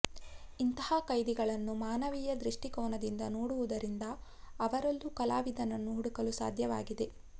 ಇಂತಹ ಕೈದಿಗಳನ್ನು ಮಾನವೀಯ ದೃಷ್ಟಿಕೋನದಿಂದ ನೋಡುವುದರಿಂದ ಅವರಲ್ಲೂ ಕಲಾವಿದನನ್ನು ಹುಡುಕಲು ಸಾಧ್ಯವಾಗಿದೆ